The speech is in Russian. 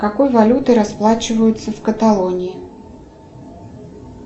какой валютой расплачиваются в каталонии